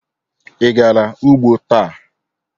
Ị gara ugbo taa?